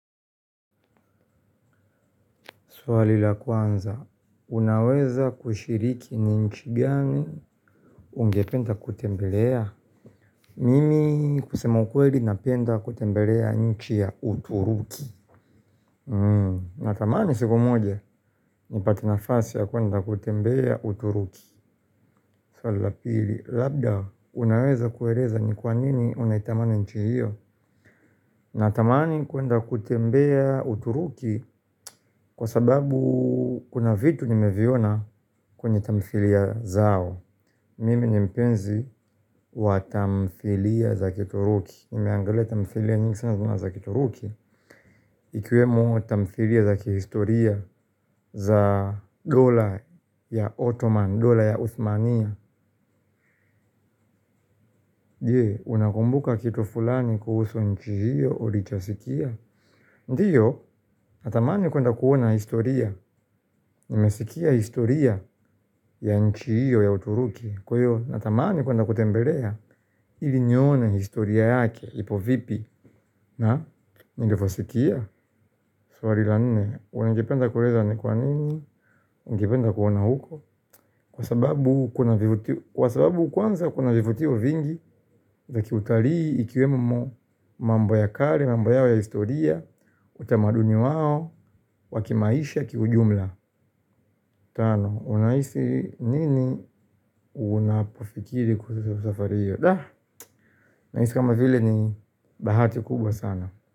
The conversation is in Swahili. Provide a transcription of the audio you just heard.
Swali la kwanza, unaweza kushiriki ni nchi gani ungependa kutembelea? Mimi kusema ukweli napenda kutembelea nchi ya uturuki. Natamani siku, moja nipate nafasi ya kuenda kutembea uturuki. Swali la pili, labda, unaweza kueleza ni kwanini unaitamana nchi hiyo? Natamani kuenda kutembea uturuki kwa sababu kuna vitu nimeviona kwenye tamthilia zao. Mime ni mpenzi wa tamthilia za kituruki. Nimeangale tamfilia niksana za kituruki. Ikiwemo tamthilia za kihistoria za dola ya Ottoman, dola ya Uthmania. Je, unakumbuka kitu fulani kuhusu nchi hio, ulichosikia. Ndiyo, natamani kwenda kuona historia. Nimesikia historia ya nchi iyo ya uturuki. Kwa iyo, natamani kwenda kutembelea ili nione historia yake, ipo vipi. Na, nilivosikia. Swari la nine, ungependa kureza ni kwa nini, ungependa kuona huko. Kwa sababu kwanza kuna vivutio vingi, za kiutarii ikiwemo mambo ya kale, mambo yao ya historia. Utamaduni wao, wa kimaisha kijumla. Tano, unaisi nini unapofikiri kuusu safariyo. Na isi kama vile ni bahati kubwa sana.